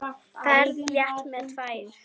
Ferð létt með tvær.